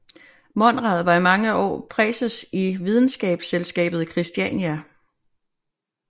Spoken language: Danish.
Monrad var i mange år præses i Videnskabsselskabet i Kristiania